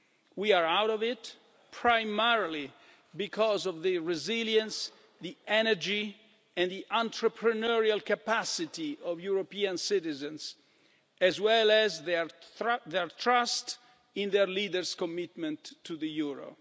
We are out of it primarily because of the resilience, the energy, and the entrepreneurial capacity of European citizens, as well as their trust in their leaders' commitment to the